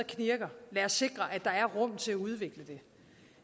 lad os sikre at der er rum til at udvikle det